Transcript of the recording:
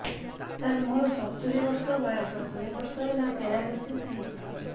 ସାର ମୋର ସତୂରୀ ବର୍ଷ ବୟସ ଦୁଇ ବର୍ଷ ହେଲା ପେରାଲିଶିଶ ହେଇଚି